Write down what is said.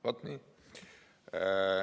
" Vaat nii!